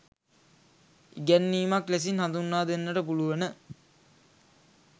ඉගැන්වීමක් ලෙසින් හඳුන්වා දෙන්නට පුළුවන.